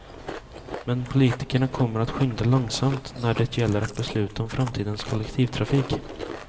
Men politikerna kommer att skynda långsamt när det gäller att besluta om framtidens kollektivtrafik.